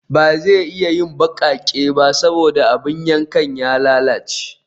Ba zai iya yin baƙaƙe ba saboda abin yankan ya lalace